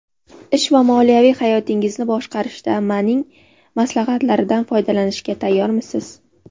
Ish va moliyaviy hayotingizni boshqarishda Maning maslahatlaridan foydalanishga tayyormisiz?